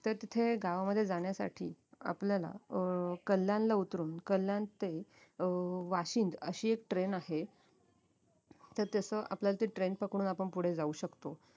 तर तिथे गावामध्ये जाण्यासाठी आपल्याला अं कल्याणला उतरून कल्याण ते अं वाशिंद अशी एक train आहे तर तसं आपल्याला ती train पकडून आपण पुढे जाऊ शकतो